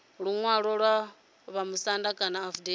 luṅwalo lwa vhamusanda kana afidaviti